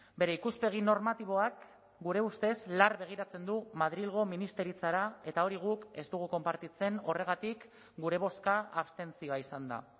bere ikuspegi normatiboak gure ustez lar begiratzen du madrilgo ministeritzara eta hori guk ez dugu konpartitzen horregatik gure bozka abstentzioa izan da